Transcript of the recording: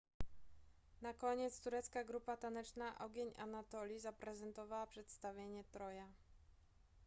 na koniec turecka grupa taneczna ogień anatolii zaprezentowała przedstawienie troja